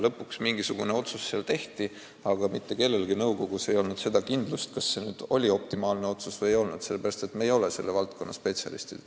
Lõpuks mingisugune otsus tehti, aga mitte kellelgi nõukogus ei olnud kindlust, kas see oli optimaalne otsus või ei, sest me ei ole selle valdkonna spetsialistid.